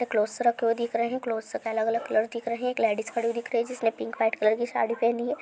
Clothes रखे हुए दिख रहे है क्लोथ्स अलग-अलग कलर के दिख रहे है एक लेडिज खड़ी हुई दिख रही है जिसने पिंक व्हाइट कलर की साड़ी पहनी है ।